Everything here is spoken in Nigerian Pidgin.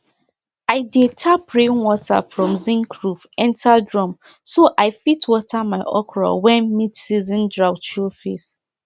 i dey tap rainwater from zinc roof enter drum so i fit water my okro when midseason drought show face